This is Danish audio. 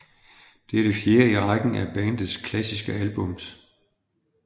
Det er det fjerde i rækken af bandets klassiske album